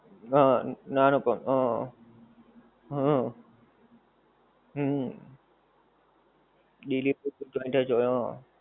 હં નાનો પણ. હં હં હુંમ ડિલિવરી joint જ હોય હં.